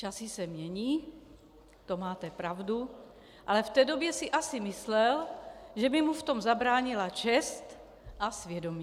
Časy se mění, to máte pravdu, ale v té době si asi myslel, že by mu v tom zabránila čest a svědomí.